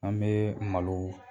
An bɛ malo